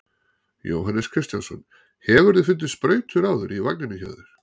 Jóhannes Kristjánsson: Hefurðu fundið sprautur áður í vagninum hjá þér?